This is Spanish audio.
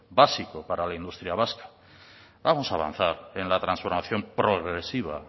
básico para la industria vasca vamos a avanzar en la transformación progresiva